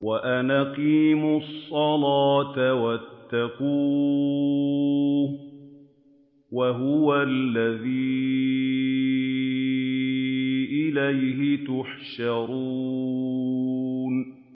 وَأَنْ أَقِيمُوا الصَّلَاةَ وَاتَّقُوهُ ۚ وَهُوَ الَّذِي إِلَيْهِ تُحْشَرُونَ